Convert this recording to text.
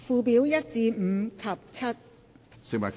附表1至5及7。